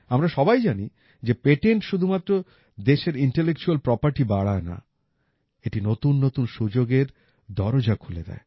আমরা সবাই জানি যে পেটেন্ট শুধুমাত্র দেশের ইন্টেলেকচুয়াল প্রপার্টি বাড়ায় না এটি নতুন নতুন সুযোগের দরজা খুলে দেয়